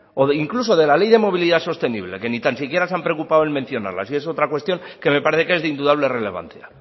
o incluso de la ley de movilidad sostenible que ni tan siquiera se han preocupado en mencionarla y es otra cuestión que me parece que es de indudable relevancia